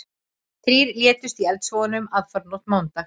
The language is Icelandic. Þrír létust í eldsvoðanum aðfararnótt mánudags